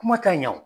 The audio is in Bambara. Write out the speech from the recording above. Kuma tɛ ɲɛ o